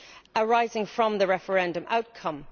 arising from the referendum outcome.